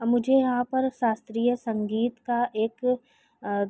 मुझे यहाँ पर शास्त्रीय संगीत का एक अ --